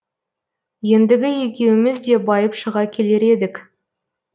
ендігі екеуміз де байып шыға келер едік